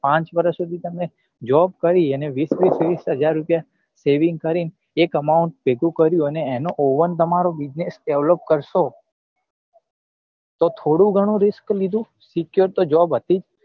પાંચ વર્ષ સુધી તમે job કરી અને વીસ વીસ વીસ હજાર રૂપિયા saving કરી ને એક amount ભેગું કર્યું અને એનો own તમારો business develop કરસો તો થોડું ગણું risk લીધું secure તો job હતી જ